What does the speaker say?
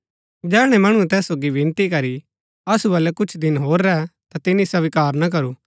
जैहणै मणुऐ तैस सोगी विनती करी असु बलै कुछ दिन होर रैह ता तिनी स्वीकार ना करू